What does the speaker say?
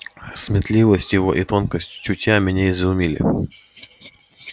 сметливость его и тонкость чутья меня изумили